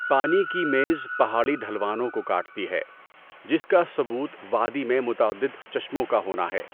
پانی کی میز پہاڑی ڈھلوانوں کو کاٹتی ہے، جس کا ثبوت وادی میں متعدد چشموں کا ہونا ہے۔